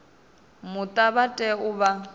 muta vha tea u vha